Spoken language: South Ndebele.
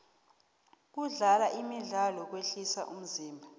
kudlala imidlalo kwehlisa umzimba